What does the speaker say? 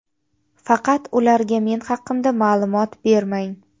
Faqat ularga men haqimda ma’lumot bermang.